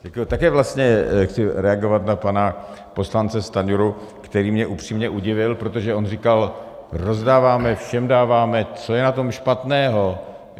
Také vlastně chci reagovat na pana poslance Stanjuru, který mě upřímně udivil, protože on říkal: rozdáváme, všem dáváme, co je na tom špatného?